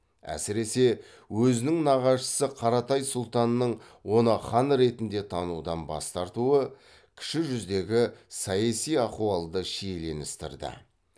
әсіресе өзінің нағашысы қаратай сұлтанның оны хан ретінде танудан бас тартуы кіші жүздегі саяси ахуалды шиеленістірді